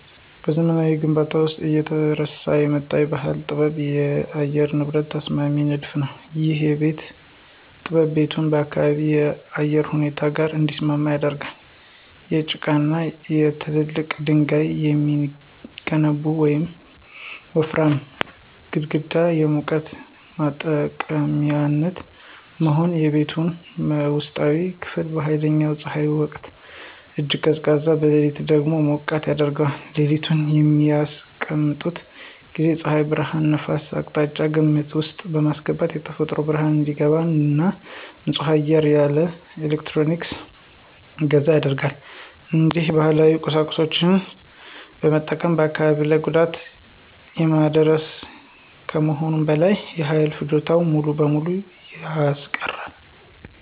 በዘመናዊ ግንባታዎች ውስጥ እየተረሳ የመጣው ባህላዊ ጥበብ የአየር ንብረት ተስማሚ ንድፍ ነው። ይህ ጥበብ ቤቱን ከአካባቢው የአየር ሁኔታ ጋር እንዲስማማ ያደርጋል። ከጭቃና ከትላልቅ ድንጋዮች የሚገነቡት ወፍራም ግድግዳዎች የሙቀት ማጠራቀሚያነት በመሆን፣ የቤቱን ውስጣዊ ክፍል በኃይለኛ ፀሐይ ወቅት እጅግ ቀዝቃዛ፣ በሌሊት ደግሞ ሞቃታማ ያደርገዋል። ቤቱን በሚያስቀምጡበት ጊዜ የፀሐይ ብርሃንንና ነፋስን አቅጣጫ ግምት ውስጥ በማስገባት የተፈጥሮ ብርሃን እንዲገባ እና ንጹህ አየር ያለ ኤሌክትሪክ እንዲዘዋወር ያደርጋል። እንዲሁም ባህላዊ ቁሳቁሶችን መጠቀም በአካባቢ ላይ ጉዳት የማያደርግ ከመሆኑም በላይ የኃይል ፍጆታን ሙሉ በሙሉ ያስቀራል።